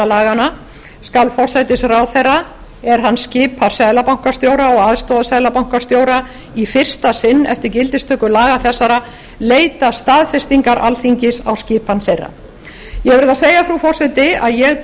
laganna skal forsætisráðherra er hann skipar seðlabankastjóra og aðstoðarseðlabankastjóra í fyrsta sinn eftir gildistöku laga þessara leita staðfestingar alþingis á skipan þeirra ég verð að segja frú forseti að ég